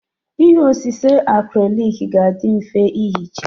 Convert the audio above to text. Ihe osise acrylic ga-adị mfe ihicha.